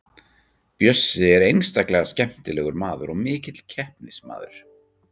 Bjössi er einstaklega skemmtilegur maður og mikill keppnismaður.